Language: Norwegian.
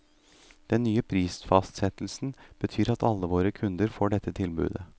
Den nye prisfastsettelsen betyr at alle våre kunder får dette tilbudet.